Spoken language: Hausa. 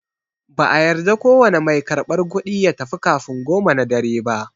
No cashier is allowed to leave before 10am.